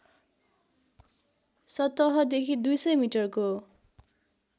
सतहदेखि २०० मिटरको